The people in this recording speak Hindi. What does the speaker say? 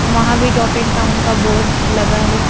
वहां भी टॉप एंड टाउन का बोर्ड लगा है।